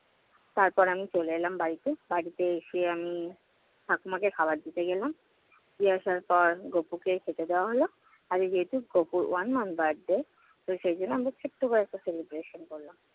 তারপর আমি চলে এলাম বাড়িতে। বাড়িতে এসে আমি ঠাকুমাকে খাবার দিতে গেলাম। দিয়ে আসার পর গপুকে খেতে দেওয়া হলো। আর যেহেতু গপুর one month birthday তো সেজন্য আমরা ছোট্ট করে একটা celebration করলাম।